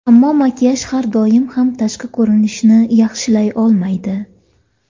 Ammo makiyaj har doim ham tashqi ko‘rinishni yaxshilay olmaydi.